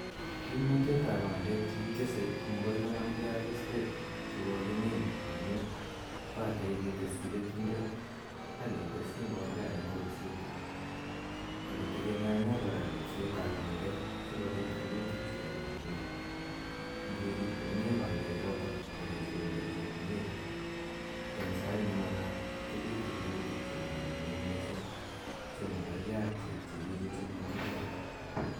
Kimnatet ao oandek che kikese ko makoi konamgei ak pandek che kokimin amun pate keteschi keturek ak kteschi mbolea eng' kolset i, ak kotegemeane kora ripsetap pandek si kopit rurutik che kararnen. Ngerip komye pandechotok ak kesemberchi komye eng' sait ne makat ko pitu rurutik che kararanen missing' che makergei ak chu kiche chu kikikole.